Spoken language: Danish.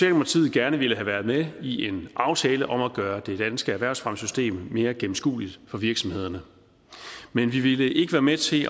gerne ville have været med i en aftale om at gøre det danske erhvervsfremmesystem mere gennemskueligt for virksomhederne men vi ville ikke være med til